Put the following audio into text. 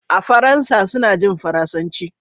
a Faransa suna jin Faransanci